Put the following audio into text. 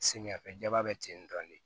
Samiyɛ fɛ ba bɛ ten dɔrɔn de